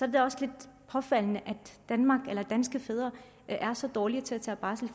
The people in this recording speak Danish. det da også lidt påfaldende at danske fædre er så dårlige til at tage barsel